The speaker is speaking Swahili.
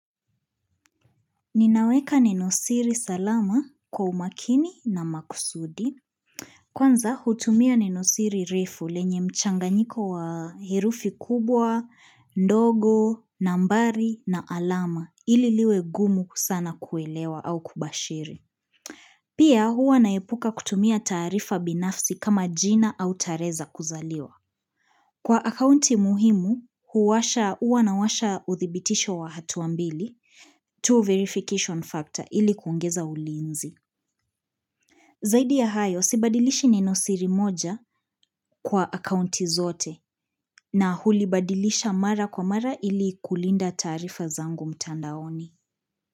Ninaweka nenosiri salama kwa umakini na makusudi. Kwanza hutumia nenosiri refu lenye mchanganyiko wa herufi kubwa, ndogo, nambari na alama ili liwe gumu sana kuelewa au kubashiri. Pia huwa naepuka kutumia taarifa binafsi kama jina au tarehe za kuzaliwa. Kwa akaunti muhimu, huwasha, huwa nawasha uthibitisho wa hatua mbili two verification factor ili kuongeza ulinzi. Zaidi ya hayo, sibadilishi nenosiri moja kwa akaunti zote na hulibadilisha mara kwa mara ili kulinda taarifa zangu mtandaoni.